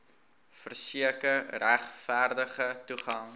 verseker regverdige toegang